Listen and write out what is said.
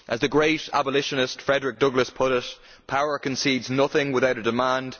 As the great abolitionist Frederick Douglass put it power concedes nothing without a demand.